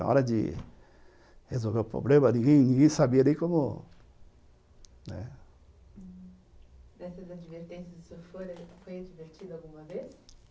Na hora de resolver o problema, ninguém sabia nem como...Né, nessas advertências, o senhor foi advertido alguma vez?